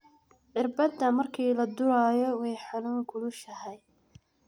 Xirbata marki ladurayo way xanun kulushaxay.